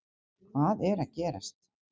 Hvað er að gerast